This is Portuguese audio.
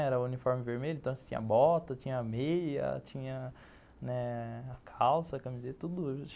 Era o uniforme vermelho, então tinha bota, tinha meia, tinha, né, a calça, camiseta, tudo